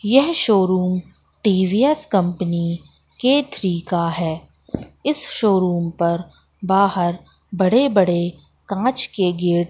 यह showroom TVS company के three का है इस पर बाहर बड़े बड़े कांच के गेट --